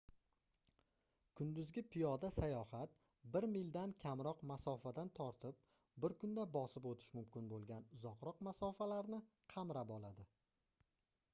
kunduzgi piyoda sayohat bir mildan kamroq masofadan tortib bir kunda bosib oʻtish mumkin boʻlgan uzoqroq masofalarni qamrab oladi